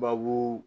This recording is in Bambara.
Babu